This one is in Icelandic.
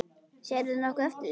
Sérðu nokkuð eftir því?